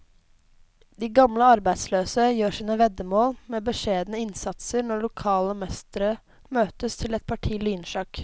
De gamle arbeidsløse gjør sine veddemål med beskjedne innsatser når lokale mestere møtes til et parti lynsjakk.